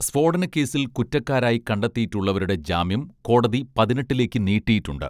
സ്ഫോടനക്കേസിൽ കുറ്റക്കാരായി കണ്ടെത്തിയിട്ടുള്ളവരുടെ ജാമ്യം കോടതി പതിനെട്ടിലേക്ക് നീട്ടിയിട്ടുണ്ട്